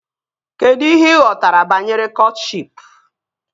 Kedụ ihe ị ghọtara banyere kọtshịp?